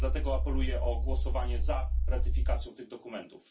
Dlatego apeluję o głosowanie za ratyfikacją tych dokumentów.